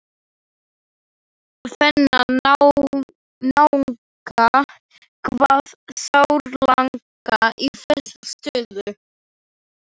Þennan náunga kvað sárlanga í þessa stöðu.